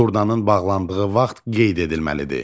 Turnanın bağlandığı vaxt qeyd edilməlidir.